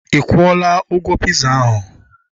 Ikwula ụgwọ piza ahu?